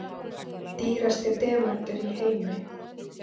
Dýrasti demantur í heimi